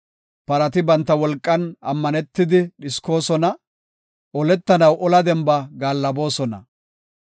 Parati banta wolqan ammanetidi dhiskoosona; oletanaw ola demba gaallaboosona.